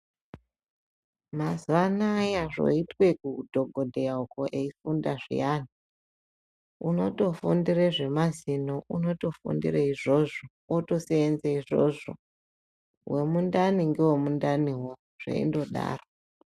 Mazuwa anaya zvoitwe kuudhokodheya uko eifunda zviyani unotofundire zvemazino unotofundire izvozvo otoseenze izvozvo wemundani ngewemundaniwo zveindodaro.